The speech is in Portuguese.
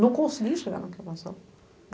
Não consegui chegar na.